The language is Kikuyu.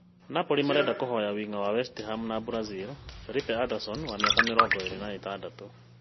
Napoli marenda kuoya wing’i wa West Ham na Brazil Felipe Anderson wa mĩaka mĩrongo ĩĩrĩ na ĩtandatũ